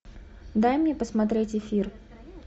дай мне посмотреть эфир